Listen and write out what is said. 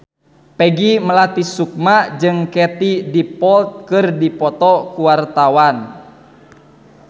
Peggy Melati Sukma jeung Katie Dippold keur dipoto ku wartawan